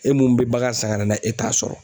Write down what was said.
E mun be bagan san ka na n'a ye e t'a sɔrɔ.